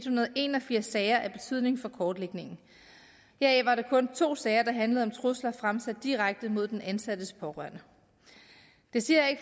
hundrede og en og firs sager af betydning for kortlægningen her var der kun to sager der handlede om trusler fremsat direkte mod den ansattes pårørende det siger jeg